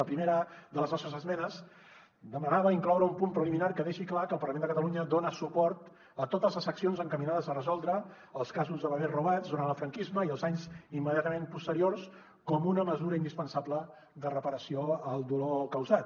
la primera de les nostres esmenes demanava incloure un punt preliminar que deixi clar que el parlament de catalunya dona suport a totes les accions encaminades a resoldre els casos de bebès robats durant el franquisme i els anys immediatament posteriors com una mesura indispensable de reparació al dolor causat